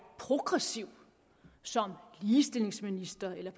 progressiv som ligestillingsminister eller